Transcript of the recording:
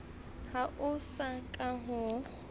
ha ho so ka ho